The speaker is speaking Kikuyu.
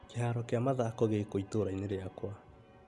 Kĩharo kĩa mathako gĩkũ itũra-inĩ rĩakwa ?